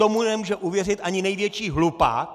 Tomu nemůže uvěřit ani největší hlupák!